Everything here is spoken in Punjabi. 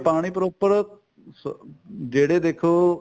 ਪਾਣੀ proper ਸ ਜਿਹੜੇ ਦੇਖੋ